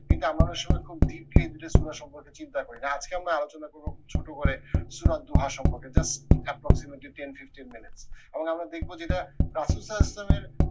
কিন্তু আমরা অনেক সময় খুব সম্পর্কে চিন্তা করি না আজকে আমরা আলোচনা করবো খুব ছোট করে সুলার দোহা সম্পর্কে just approximately ten fifteen minutes এবং আমরা দেখবো যেটা সালাউল ইসলামের